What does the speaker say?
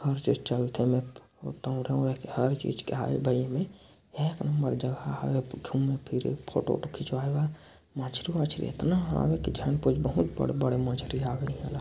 हर चीज़ चलथे एमेर हर चीज के एमे एक नंबर जगह हव्य घूमे-फिरे फोटो वोटो खिचवाये बर मछरी-वछरी इतना हवे की झन कोई बहुत बड़े-बड़े मछली हवे इहां ला।